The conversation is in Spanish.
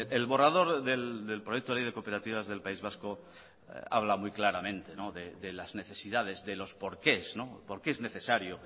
el borrador del proyecto de ley de cooperativas del país vasco habla muy claramente de las necesidades de los porqués por qué es necesario